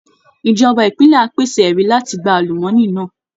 Ìjọba ìpínlẹ̀ á pèsè ẹ̀rí láti gba àlùmọ́ọ́nì náà